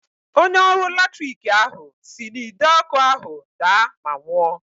Onye ọrụ latrik ahụ si n'Ide ọkụ ahụ daa ma nwụọ.